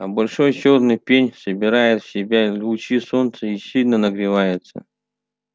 а большой чёрный пень собирает в себя лучи солнца и сильно нагревается